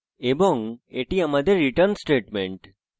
এবং এটি আমাদের return statement